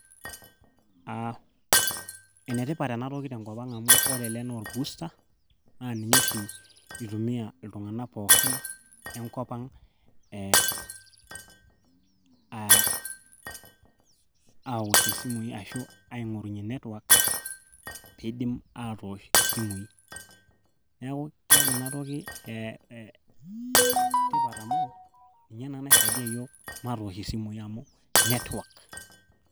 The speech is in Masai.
aa enetipat enatoki tenkop ang amu ore ele naa orbusta naa ninye oshi itumiyia iltung'anak pookin lenkop ang ee awoshie isimui ashu aing'orunyie network piidim aatosh isimui neeku keeta enatoki tipat amu ninye naisaidia yiook matoosh isimui amu network.